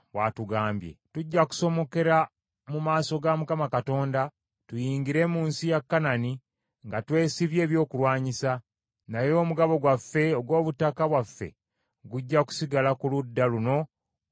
Tujja kusomokera mu maaso ga Mukama Katonda tuyingire mu nsi ya Kanani nga twesibye ebyokulwanyisa, naye omugabo gwaffe ogw’obutaka bwaffe gujja kusigala ku ludda luno olwa Yoludaani.”